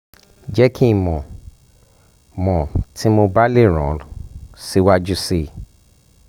jẹ ki n mọ mọ ti mo ba le ran ọ siwaju sii